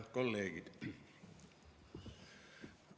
Head kolleegid!